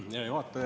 Hea juhataja!